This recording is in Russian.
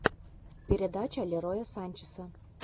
передача лероя санчеса